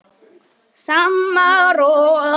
Ég mun sakna þín, Eyrún.